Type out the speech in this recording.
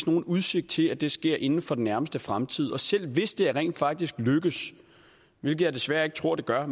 nogen udsigt til at det ske inden for den nærmeste fremtid selv hvis det rent faktisk lykkes hvilket jeg desværre ikke tror det gør